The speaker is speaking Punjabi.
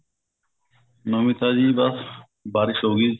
ਨਵੀਂ ਤਾਜੀ ਬੱਸ ਬਾਰਿਸ਼ ਹੋਗੀ